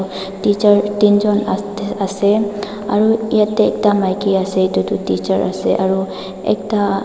teacher teenjon ase aro yatae ekta maki ase edu toh teacher ase aro ekta.